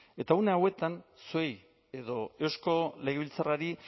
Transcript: eta une hauetan zuei edo eusko legebiltzarrari